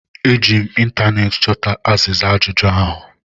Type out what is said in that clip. Eji m ịntaneetị chọta azịza ajụjụ ahụ